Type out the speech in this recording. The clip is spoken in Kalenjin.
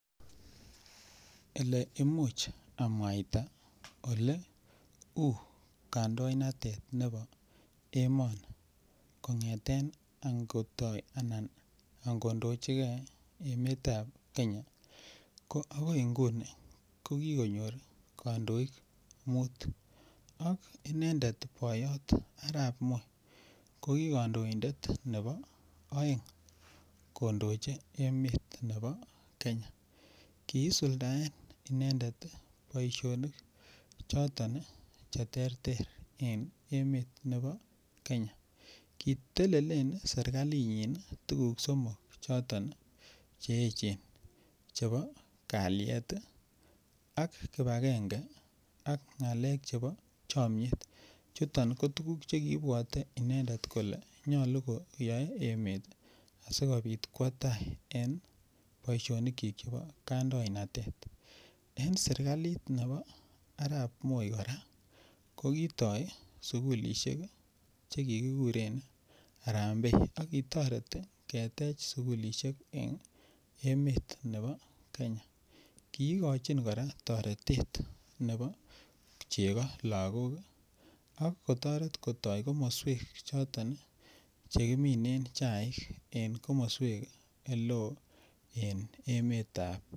Ole Imuch amwaita Ole u kandoinatetab emoni kongeten angodochi ge emetab Kenya ko agoi inguni ko kandoik muut ak inendet boyot Arap Moi ko ki kandoindet nebo aeng kondochi emet nebo Kenya kisuldaen inendet boisionik choton Che terter en emet nebo Kenya kitelelen serkalinyin tuguk somok choton Che echen chebo kalyet ak kibagenge ak ngalek chebo chomiet chuto ko tuguk Che kiibwote inendet kole nyolu ko yoe emet asikobit kwo tai en boisionikyik chebo kandoinatet kora en serkalit nebo Arap Moi ko kitoi sukulisiek Che kiguren Harambe ak kitoret ketech sukulisiek en emet nebo Kenya kigochin kora toret nebo chego lagok ak kotoret kotoi komoswek choton Che kiminen chaik en komoswek Oleo en emetab Kenya